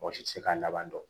Mɔgɔ si tɛ se k'a laban dɔn